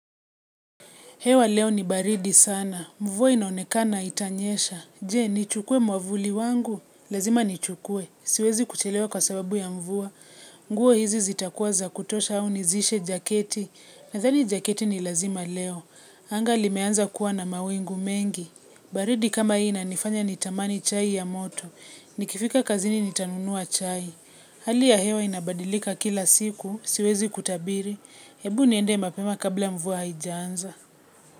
Hewa leo ni baridi sana. Mvua inaonekana itanyesha. Je, nichukue mwavuli wangu. Lazima nichukue. Siwezi kuchelewa kwa sababu ya mvua. Nguo hizi zitakuwa za kutosha au nizishe jaketi. Nathani jaketi ni lazima leo. Anga limeanza kuwa na mawingu mengi. Baridi kama hii inanifanya nitamani chai ya moto. Nikifika kazini nitanunua chai. Hali ya hewa inabadilika kila siku. Siwezi kutabiri. Hebu niende mapema kabla mvua haijanza.